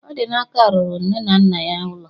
Odinaka rụrụ nne na nna ya ụlọ